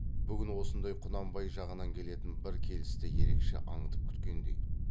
бүгін осындай құнанбай жағынан келетін бір келісті ерекше аңдып күткендей